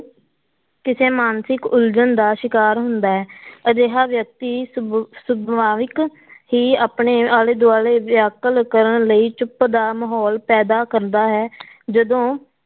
ਕਿਸੇ ਮਾਨਸਿਕ ਉਲਝਣ ਦਾ ਸ਼ਿਕਾਰ ਹੁੰਦਾ ਹੈ ਅਜਿਹਾ ਵਿਅਕਤੀ ਸੁਭ~ ਸੁਭਾਵਕ ਹੀ ਆਪਣੇ ਆਲੇ ਦੁਆਲੇ ਵਿਆਕੁਲ ਕਰਨ ਲਈ ਚੁੱਪ ਦਾ ਮਾਹੌਲ ਪੈਦਾ ਕਰਦਾ ਹੈ ਜਦੋਂ